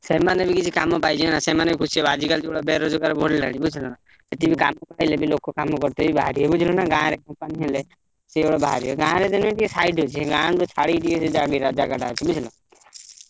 ସେମାନେ ବି କିଛି କାମ ପାଇଯିବେନା ସେମାନେ ଖୁସି ହେବେ, ଆଜିକାଲି ଯୋଉଭଳିଆ ବେରୋଜଗାର ବଢିଲାଣି ବୁଝିଲନା, ଏତିକି ପାଇଲେ ବି ଲୋକ କାମ କରିତେ ବି ବାହାରିବେ ବୁଝିଲୁନା। ଗାଁରେ company ହେଲେ sure ବାହାରିବେ, ଗାଁରେ ହେଲେବି ଟିକେ side ଅଛି, ଗାଁକୁ ଛାଡିକି ଟିକେ ସେ ଜମିଟା ଜାଗାଟା ଅଛି ବୁଝିଲ।